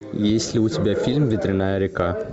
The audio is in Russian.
есть ли у тебя фильм ветреная река